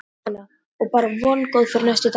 Jóhanna: Og bara vongóð fyrir næstu dagana?